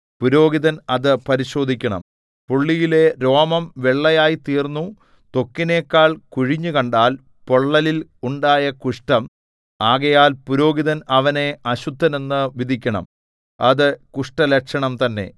പുരോഹിതൻ അത് പരിശോധിക്കണം പുള്ളിയിലെ രോമം വെള്ളയായി തീർന്നു ത്വക്കിനെക്കാൾ കുഴിഞ്ഞുകണ്ടാൽ പൊള്ളലിൽ ഉണ്ടായ കുഷ്ഠം ആകയാൽ പുരോഹിതൻ അവനെ അശുദ്ധനെന്നു വിധിക്കണം അത് കുഷ്ഠലക്ഷണം തന്നെ